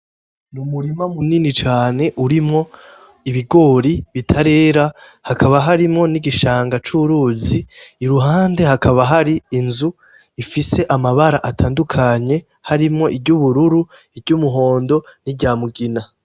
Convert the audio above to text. Umurima munini cane urimwo ibigori bitarera n' igishanga curuzi iruhande hakaba hari inzu ifise amabara atandukanye, harimwo iry'ubururu, niry ' umuhondo, n' iryamugina.